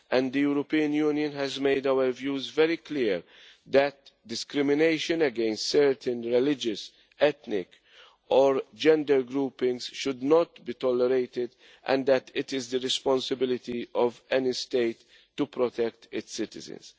The European Union has made its views very clear that discrimination against certain religious, ethnic or gender groupings should not be tolerated and that it is the responsibility of any state to protect its citizens.